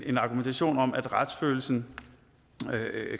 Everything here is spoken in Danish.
en argumentation om at retsfølelsen